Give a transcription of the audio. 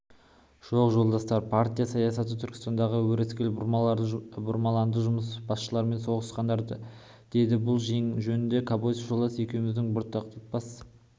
жоқ жолдастар партия саясаты түркістанда өрескел бұрмаланды басмашылармен соғысыңдар деді бұл жөнінде кобозев жолдас екеуміздің бұлтартпас